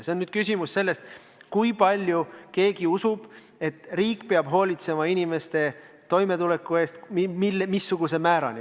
See on küsimus sellest, kui palju kellegi arvates riik peab hoolitsema inimeste toimetuleku eest, missuguse määrani.